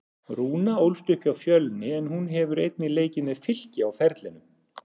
Rúna ólst upp hjá Fjölni en hún hefur einnig leikið með Fylki á ferlinum.